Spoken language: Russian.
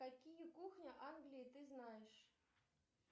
какие кухни англии ты знаешь